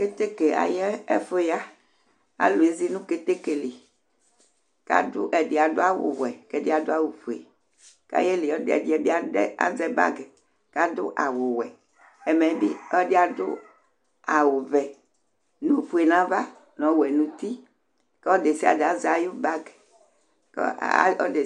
Kétéké ayɛfuya Alu ézi nu kétékéli Ɛdi adu awu wuɛbɛdi adu awu fué, ka ayéli, ɔliǝ bi aɖɛ azɛ bagi kadu awu wuɛ, ɛmɛbi ɔdi adu awu vɛ nu ọfué nava nɔ ɔwɛ nuŋti Kɔ ɔludésiaɖé azɛ ayi bag